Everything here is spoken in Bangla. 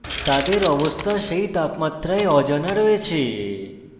তাদের অবস্থা সেই তাপমাত্রায় অজানা রয়েছে